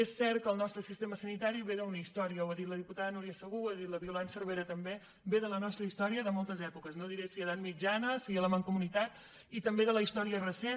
és cert que el nostre sistema sanitari ve d’una història ho ha dit la diputada núria segú ho ha dit la violant cervera també ve de la nostra història i de moltes èpoques no diré si edat mitjana si la mancomunitat i també de la història recent